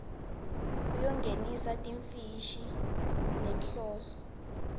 yekungenisa timfishi ngenhloso